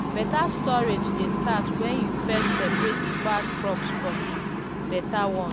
better storage dey start when you first separate the bad crops from the better ones.